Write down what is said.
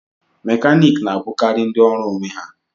Mekaniki na-abụkarị ndị ọrụ onwe ha